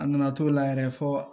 A nana to la yɛrɛ fo